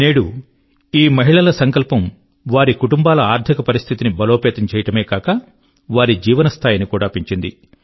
నేడు ఈ మహిళల సంకల్పం వారి కుటుంబాల ఆర్థిక స్థితిని బలోపేతం చేయడమే కాక వారి జీవన స్థాయిని కూడా పెంచింది